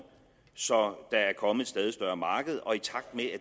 så der er kommet et stadig større marked og i takt med